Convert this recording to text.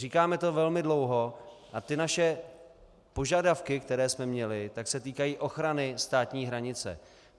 Říkáme to velmi dlouho a ty naše požadavky, které jsme měli, tak se týkají ochrany státní hranice.